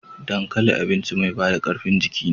Dankali abinci mai bada karfin jiki ne.